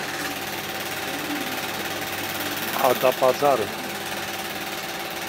адапазары